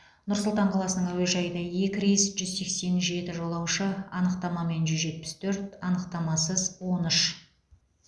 нұр сұлтан қаласының әуежайына екі рейс жүз сексен жеті жолаушы анықтамамен жүз жетпіс төрт анықтамасыз он үш